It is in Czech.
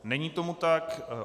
Není tomu tak.